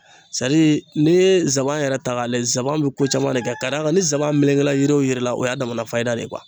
n'i ye zaban yɛrɛ ta k'a lajɛ zaban bi ko caman de kɛ ka da kan ni zaban melekela yiri o yiri la, o y'a damana fayida de ye